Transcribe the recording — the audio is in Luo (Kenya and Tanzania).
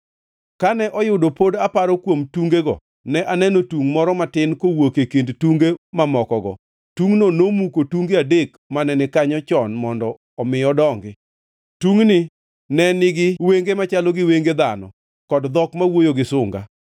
“Kane oyudo pod aparo kuom tungego, ne aneno tungʼ moro matin kawuok e kind tunge mamokogo; tungʼno nomuko tunge adek mane ni kanyo chon mondo omi odongi. Tungʼni ne nigi wenge machalo gi wenge dhano kod dhok ma wuoyo gi sunga.